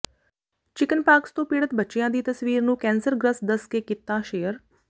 chickenpox ਤੋਂ ਪੀੜਤ ਬੱਚਿਆਂ ਦੀ ਤਸਵੀਰ ਨੂੰ ਕੈਂਸਰਗ੍ਰਸਤ ਦੱਸ ਕੇ ਕੀਤਾ ਸ਼ੇਅਰ